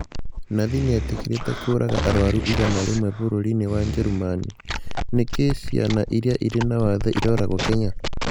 Nathi nĩetĩkĩrĩte kũũraga arwaru igana rĩmwe bũrũri-inĩ wa Njerumani, nĩkĩĩ ciana iria irĩ na wathe iroragwo Kenya?